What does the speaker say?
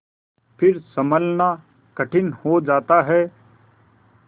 फिर सँभलना कठिन हो जाता है